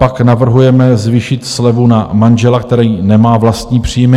Pak navrhujeme zvýšit slevu na manžela, který nemá vlastní příjem.